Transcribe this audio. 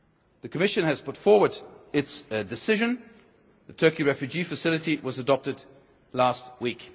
The Commission has put forward its decision the Turkey Refugee Facility was adopted last